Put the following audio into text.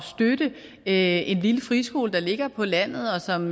støtte en lille friskole der ligger på landet og som